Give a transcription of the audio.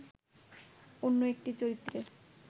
অন্য একটি চরিত্রের